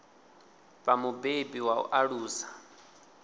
vha mubebi wa u alusa